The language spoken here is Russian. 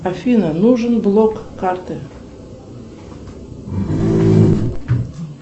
афина нужен блок карты